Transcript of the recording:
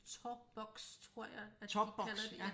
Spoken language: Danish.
Tåboks tror jeg at de kalder det